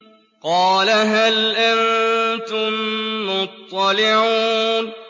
قَالَ هَلْ أَنتُم مُّطَّلِعُونَ